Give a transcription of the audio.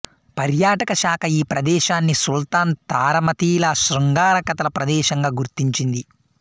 పర్యాటక శాఖ ఈ ప్రదేశాన్ని సుల్తాన్ తారామతిల శృంగార కథల ప్రదేశంగా గుర్తించింది